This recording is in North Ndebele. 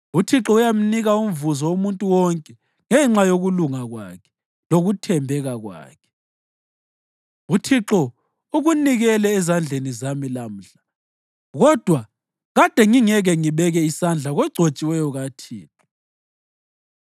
UThixo uyamnika umvuzo umuntu wonke ngenxa yokulunga kwakhe lokuthembeka kwakhe. UThixo ukunikele ezandleni zami lamhla, kodwa kade ngingeke ngibeke isandla kogcotshiweyo kaThixo.